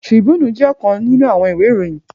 Tribúnù jè òkán ninú áwòn iwé iróyin